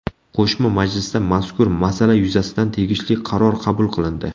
Qo‘shma majlisda mazkur masala yuzasidan tegishli qaror qabul qilindi.